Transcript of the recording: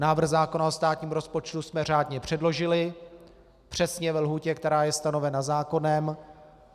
Návrh zákona o státním rozpočtu jsme řádně předložili, přesně ve lhůtě, která je stanovena zákonem.